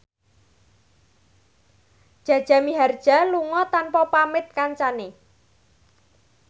Jaja Mihardja lunga tanpa pamit kancane